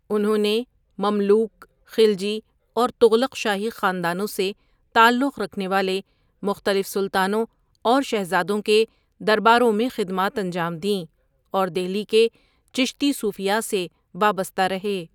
انہوں نے مملوک، خلجی اور تغلق شاہی خاندانوں سے تعلق رکھنے والے مختلف سلطانوں اور شہزادوں کے درباروں میں خدمات انجام دیں، اور دہلی کے چشتی صوفیاء سے وابستہ رہے۔